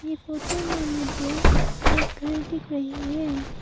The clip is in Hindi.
ये फोटो में मुझे एक घर दिख रही है।